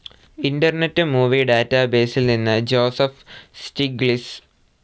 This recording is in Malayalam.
ഇന്റർനെറ്റ്‌ മൂവി ഡാറ്റാബേസിൽ നിന്ന് ജോസഫ്‌ സ്‌റ്റിഗ്ലിസ്‌